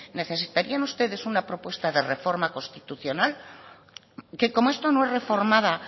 necesitarían ustedes una propuesta de reforma constitucional que como esto no reformada